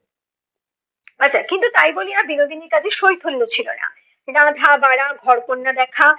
আচ্ছা কিন্তু তাই বলিয়া বিনোদিনীর কাজে শৈথল্য ছিলো না। রাধা-বাড়া ঘর কন্যা দেখা